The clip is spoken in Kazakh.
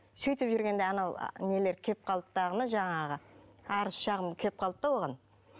сөйтіп жүргенде анау нелер келіп қалды дағыны жаңағы арыз шағым келіп қалды да оған